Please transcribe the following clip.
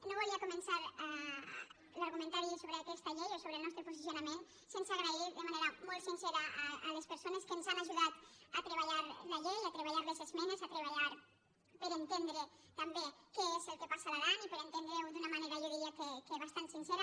no volia començar l’argumentari sobre aquesta llei o sobre el nostre posicionament sense donar les gràcies de manera molt sincera a les persones que ens han aju·dat a treballar la llei a treballar les esmenes a treba·llar per entendre també què és el que passa a l’aran i per entendre·ho d’una manera jo diria que bastant sin·cera